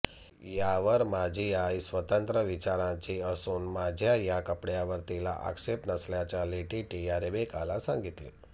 यावर माझी आई स्वतंत्र विचारांची असून माझ्या या कपड्यांवर तिला आक्षेप नसल्याचे लेटीटीया रेबेकाला सांगितले